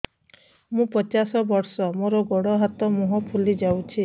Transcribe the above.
ମୁ ପଚାଶ ବର୍ଷ ମୋର ଗୋଡ ହାତ ମୁହଁ ଫୁଲି ଯାଉଛି